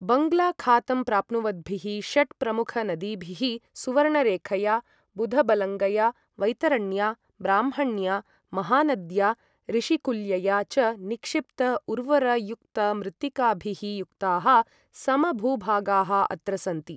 बङ्ग्ला खातं प्राप्नुवद्भिः षट् प्रमुख नदीभिः सुवर्णरेखया, बुधबलङ्गया, वैतरण्या, ब्राह्मण्या, महानद्या, ऋषिकुल्यया च निक्षिप्त उर्वरयुक्तमृत्तिकाभिः युक्ताः समभूभागाः अत्र सन्ति।